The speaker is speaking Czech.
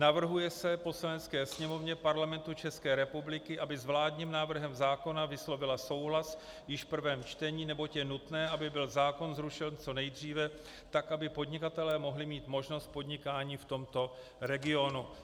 Navrhuje se Poslanecké sněmovně Parlamentu České republiky, aby s vládním návrhem zákona vyslovila souhlas již v prvém čtení, neboť je nutné, aby byl zákon zrušen co nejdříve, tak aby podnikatelé mohli mít možnost podnikání v tomto regionu."